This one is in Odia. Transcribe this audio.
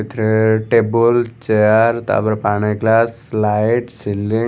ଏଠିରେ ଟେବୁଲ .ଚେୟାର ତାପରେ ପାଣି ଗ୍ଳାସ ଲାଇଟ୍‌ ସିଲିଂ --